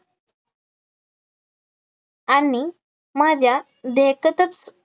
आणि माझ्या देखतच,